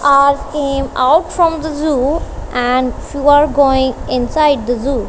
are came out from the zoo and are going inside the zoo.